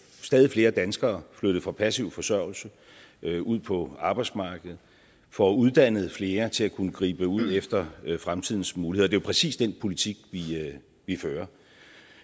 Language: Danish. stadig flere danskere flyttet fra passiv forsørgelse ud på arbejdsmarkedet får uddannet flere til at kunne gribe ud efter fremtidens muligheder det præcis den politik vi fører